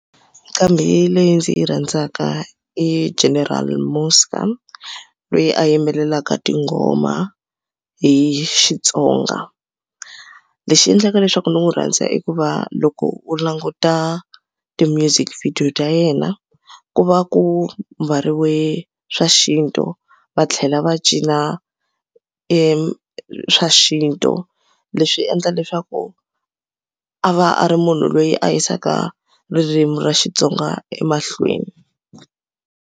Nqambi leyi ndzi yi rhandzaka i General Muzka loyi a yimbelelaka tingoma hi Xitsonga lexi endlaka leswaku ni n'wi rhandza i ku va loko u languta ti-music video ta yena ku va ku mbariwe swa xintu va tlhela va cina e swa xintu leswi endla leswaku a va a ri munhu loyi a yisaka ririmi ra Xitsonga emahlweni.